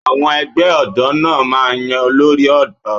Àwọn ẹgbẹ́ ọ̀dọ́ náà máa ń yan olórí ọ̀dọ́